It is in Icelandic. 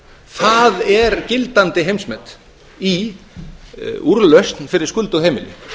það er gildandi heimsmet í úrlausn fyrir skuldug heimili